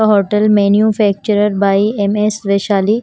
Hotel manufacturer by M_ S Vishali.